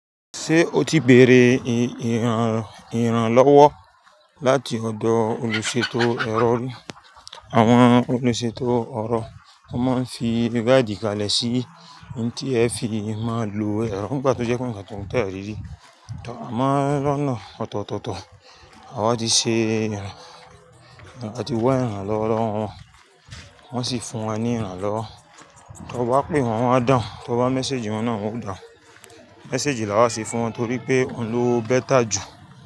Ṣé o ti bèrè ìrànlọ́wọ́ láti ọ̀dọ̀ olùṣètò ẹ̀rọ rí? Àwọn olùṣètò ọ̀rọ̀, wọ́n máa ń fi bi báàdì kalẹ̀ sí tí ẹ fi máa lo ẹ̀rọ nígbà tí ó jẹ́ pé ǹ kan tún tẹ̀rí rí. Torí a máa ń ránná ọ̀tọ̀tọ̀, àwa ti ṣe, àwa ti wá ìrànlọ́wọ́ wọn, wọ́n sì fún wa ní ìrànlọ́wọ́. Tọ bá pé wọ́n, wọ́n á dàun, tọ bá mẹ́séjì wọn náà, wọn ó dàun. Mẹ́séjì ni a máa ṣe fún wọn torí pé òun ló better jù.